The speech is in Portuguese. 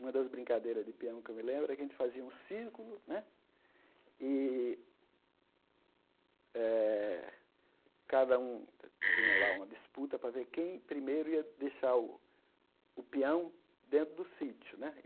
Uma das brincadeiras de pião que eu me lembro é que a gente fazia um círculo né e eh cada um tinha lá uma disputa para ver quem primeiro ia deixar o o pião dentro do sítio né.